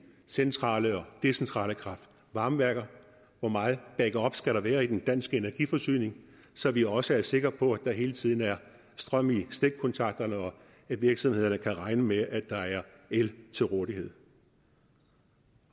centrale og decentrale kraft varme værker hvor meget backup skal der være i den danske energiforsyning så vi også er sikre på at der hele tiden er strøm i stikkontakterne og at virksomhederne kan regne med at der er el til rådighed